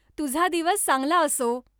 तुझा दिवस चांगला असो!